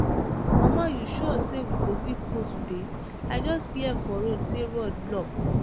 mama you sure say we go fit go today? i just hear for radio say road block.